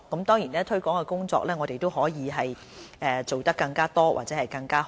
當然推廣工作我們可以做更加多或更加好。